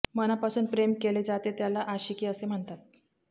मनापासून प्रेम केले जाते त्याला आशिकी असे म्हणतात